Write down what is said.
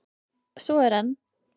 Svo er enn!